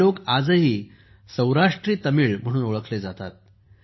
हे लोक आजही सौराष्ट्री तमिळ म्हणून ओळखले जातात